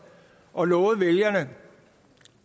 og lovede vælgerne